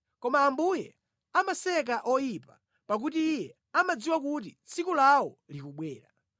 koma Ambuye amaseka oyipa pakuti Iye amadziwa kuti tsiku lawo likubwera.